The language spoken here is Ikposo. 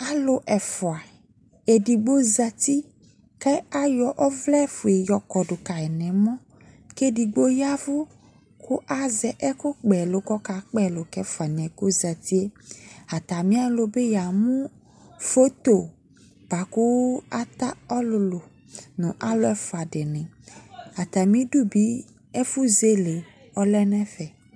Alu ɛfua, edigbo zati ka ayo ɔvlɛfie yɔ kɔdo kai no ɔmɔ ke edigbo yavu kazɛ ɛkukpaɛlu ko kaa kpa ɛlu ka alu ɛfua noɛ ko zati Atane alɔ ya mu foto boako ata ɔlulu no alu ɛfua de ne Atame du be ya mu ɛfo zele ɔlɛ nɛfɛ